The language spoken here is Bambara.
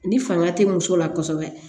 Ni fanga tɛ muso la kosɛbɛ